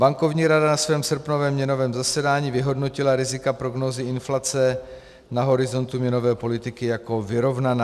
Bankovní rada na svém srpnovém měnovém zasedání vyhodnotila rizika prognózy inflace na horizontu měnové politiky jako vyrovnaná.